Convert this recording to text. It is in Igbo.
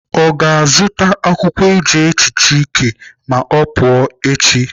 Ọ ga-azụta akwụkwọ eji ehicha ike ma ọ pụọ echi?